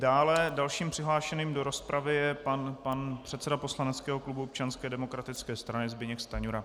Dále, dalším přihlášeným do rozpravy je pan předseda poslaneckého klubu Občanské demokratické strany Zbyněk Stanjura.